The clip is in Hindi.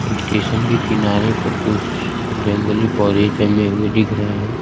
स्टेशन के किनारे पर कुछ जंगली पौधे जमे हुए दिख रहे हैं।